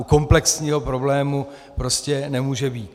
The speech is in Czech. U komplexního problému prostě nemůže být.